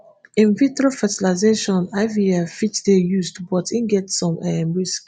invitro fertilization ivf fit dey used but e get some um risks